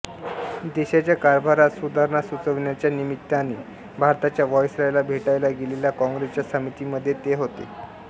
देशाच्या कारभारात सुधारणा सुचविणाच्या निमित्ताने भारताच्या व्हॉइसरॉयला भेटायला गेलेल्या कॉंग्रेसच्या समितीमध्ये ते होते